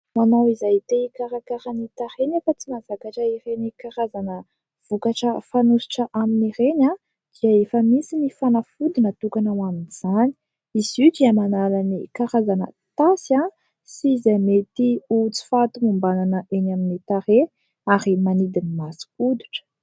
Ho anao izay te hikarakara ny tarehy nefa tsy mahatakatra ireny karazana vokatra fanosotra aminy ireny, dia efa misy ny fanafody natokana ho amin'izany. Izy io dia manala ny karazana tasy sy izay mety sy ho tsy fahatomombanana eny amin'ny tarehy ary manidy ny masokoditra.